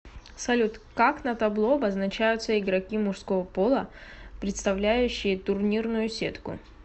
салют как на табло обозначаются игроки мужского пола представляющие турнирную сетку